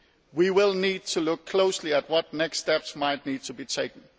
We will need to look closely at what next steps might need to be taken.